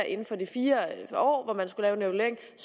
inden for de fire år